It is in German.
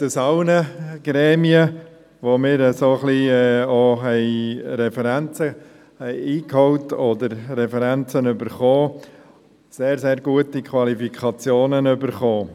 Er hat aus allen Gremien, bei denen wir Referenzen eingeholt oder von denen wir Referenzen erhalten haben, sehr, sehr gute Qualifikationen erhalten.